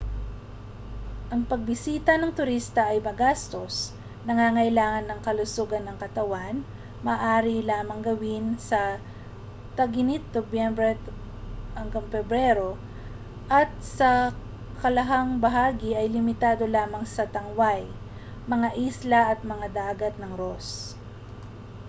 ang mga pagbisita ng turista ay magastos nangangailangan ng kalusugan ng katawan maaari lamang gawin sa tag-init nobyembre-pebrero at sa kalahang bahagi ay limitado lamang sa tangway mga isla at ang dagat ng ross